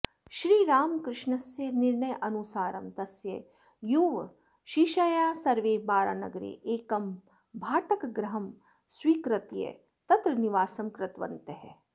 श्रीरामकृष्णस्य निर्णयानुसारं तस्य युवशिष्याः सर्वे बारानगरे एकं भाटकगृहं स्वीकृत्य तत्र निवासं कृतवन्तः